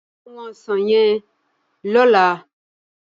Ká áwòn òsán yèn lòlá